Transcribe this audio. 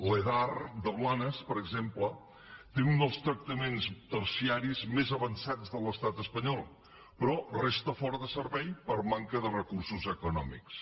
l’edar de blanes per exemple té un dels tractaments terciaris més avançats de l’estat espanyol però resta fora de servei per manca de recursos econòmics